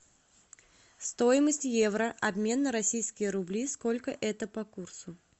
стоимость евро обмен на российские рубли сколько это по курсу